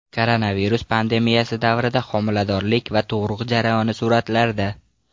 Koronavirus pandemiyasi davrida homiladorlik va tug‘ruq jarayoni suratlarda.